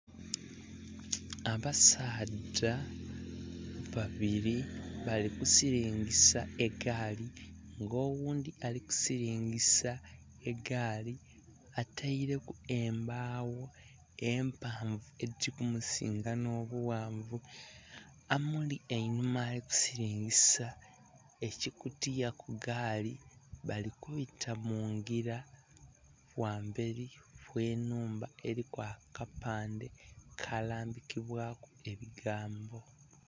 Abasadha babiri bali kusilingisa egaali nga owundhi ali kusilingisa eigaali ataileku embaawo empanvu edhiri kumusinga n'obughanvu amuli einhuma ali kusilingisa ekikutiya ku gaali bali kubita mungira ghamberi w'enhumba eliku akapande akalambikibwaku ebigambo.